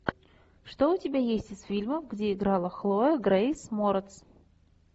что у тебя есть из фильмов где играла хлоя грейс морец